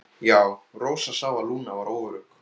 Já, Rósa sá að Lúna var óörugg.